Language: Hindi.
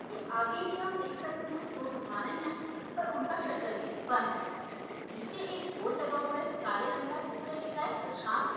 इसके आगे भी हम देख सकते है दो दुकाने है पर उनका शटर भी बंद है नीचे एक बोर्ड लगा हुआ है काले रंग का जिसपे लिखा है प्रशांत--